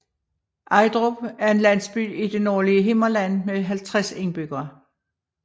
Ejdrup er en landsby i det nordlige Himmerland med 50 indbyggere